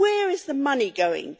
Where is the money going?